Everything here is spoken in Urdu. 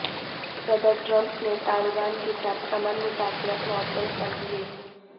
صدر ٹرمپ نے طالبان کے ساتھ امن مذاکرات معطل کر دیے